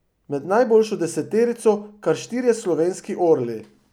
Med najboljšo deseterico kar štirje slovenski orli.